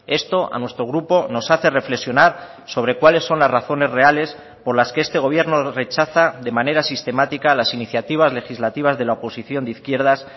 esto a nuestro grupo nos hace reflexionar sobre cuáles son las razones reales por las que este gobierno rechaza de manera sistemática las iniciativas legislativas de la oposición de izquierdas